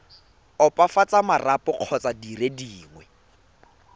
opafatsa marapo kgotsa dire dingwe